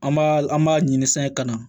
An b'a an b'a ɲini san ka na